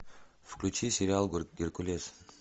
включи сериал геркулес